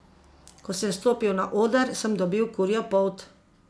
Ko sem stopil na oder, sem dobil kurjo polt.